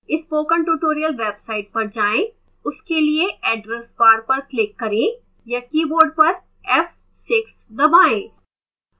spoken tutorial website पर जाएं उसके लिए address bar पर क्लिक करें या कीबोर्ड पर f6 दबाएं